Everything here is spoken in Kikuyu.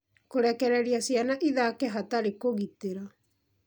Kũrekereria ciana ithake hatarĩ kũgitĩra